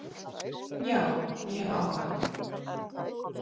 Já, ég hef áhuga.